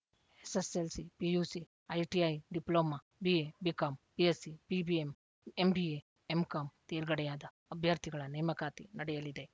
SSLC PUC ITI diploma BA BCom BSc BBM MBA MCom ತೇರ್ಗಡೆಯಾದ ಅಭ್ಯರ್ಥಿಗಳ ನೇಮಕಾತಿ ನಡೆಯಲಿದೆ